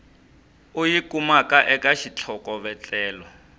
u yi kumaka eka xitlhokovetselo